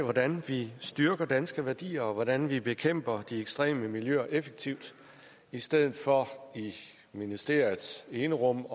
hvordan vi styrker danske værdier og hvordan vi bekæmper de ekstreme miljøer effektivt i stedet for i ministeriets enerum